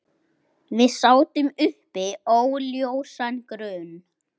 Við sátum uppi óljósan grun.